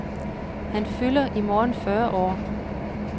Han fylder i morgen fyrre år.